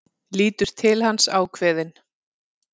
Lítur til hans, ákveðin.